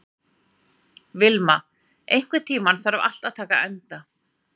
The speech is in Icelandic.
Vilma, einhvern tímann þarf allt að taka enda.